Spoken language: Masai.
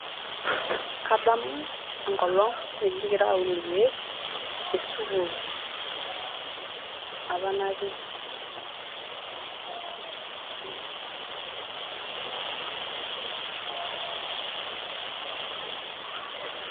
Kadamu enkolong apa nikingira aun irkieer te sukuul apa natii